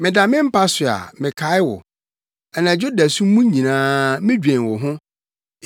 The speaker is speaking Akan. Meda me mpa so a, mekae wo. Anadwo dasu mu nyinaa, midwen wo ho.